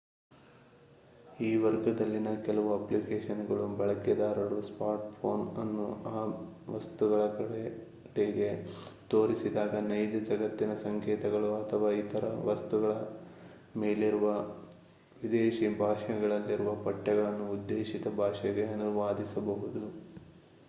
ಈ ವರ್ಗದಲ್ಲಿನ ಕೆಲವು ಅಪ್ಲಿಕೇಶನ್‌ಗಳು ಬಳಕೆದಾರರು ಸ್ಮಾರ್ಟ್‌ಫೋನ್ ಅನ್ನು ಆ ವಸ್ತುಗಳ ಕಡೆಗೆ ತೋರಿಸಿದಾಗ ನೈಜ ಜಗತ್ತಿನ ಸಂಕೇತಗಳು ಅಥವಾ ಇತರ ವಸ್ತುಗಳ ಮೇಲಿರುವ ವಿದೇಶಿ ಭಾಷೆಗಳಲ್ಲಿರುವ ಪಠ್ಯಗಳನ್ನು ಉದ್ದೇಶಿತ ಭಾಷೆಗೆ ಅನುವಾದಿಸಬಹುದು